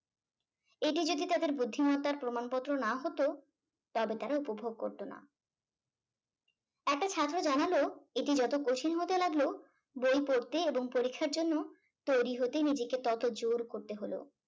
এটি যদি তাদের বুদ্ধিমত্তার প্রমাণপত্র না হতো তবে তারা উপভোগ করত না একটা ছাত্র জানালো এটি যত কঠিন হতে লাগলো বই পড়তে এবং পরীক্ষার জন্য তৈরি হতেই নিজেকে তত জোর করতে হল।